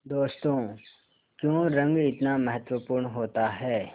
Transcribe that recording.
दोस्तों क्यों रंग इतना महत्वपूर्ण होता है